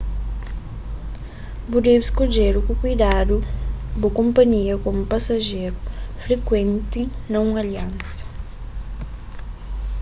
bu debe skodje ku kuidadu bu konpanhia komu pasajeru frikuenti na un aliansa